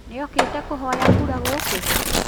Nĩokĩte kũhoya kura gũkũ?